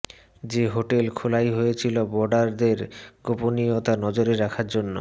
যে হোটেল খোলাই হয়েছিল বোর্ডারদের গোপনীয়তা নজরে রাখার জন্য